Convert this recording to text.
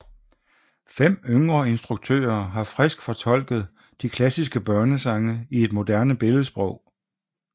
Fem yngre instruktører har frisk fortolket de klassiske børnesange i et moderne billedsprog